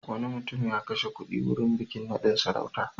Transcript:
Wani mutum ya kashe kuɗi wurin bikin naɗin sarautarsa.